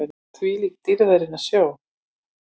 ÞVÍLÍK DÝRÐARINNAR SJÓN!